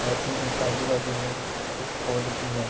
आजू में आजू-बाजू में कुछ पोल भी है।